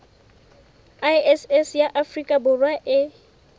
iss ya afrika borwa e